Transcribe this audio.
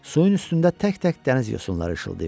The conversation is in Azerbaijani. Suyun üstündə tək-tək dəniz yosunları işıldayırdı.